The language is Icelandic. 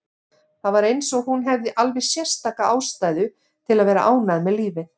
Það var eins og hún hefði alveg sérstaka ástæðu til að vera ánægð með lífið.